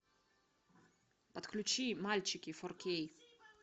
подключи мальчики фор кей